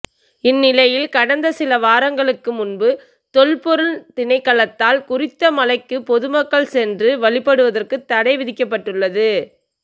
இந்நிலையில் கடந்த சில வாரங்களுக்கு முன்பு தொல்பொருள் திணைக்களத்தால் குறித்த மலைக்கு பொதுமக்கள் சென்று வழிபடுவதற்கு தடை விதிக்கப்பட்டுள்ளது